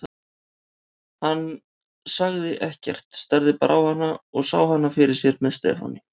En hann sagði ekkert, starði bara á hana og sá hana fyrir sér með Stefáni.